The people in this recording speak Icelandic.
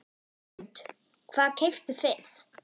Hrund: Hvað keyptuð þið?